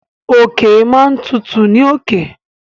Òkè máa n tutù ní òkè.